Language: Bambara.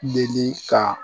ka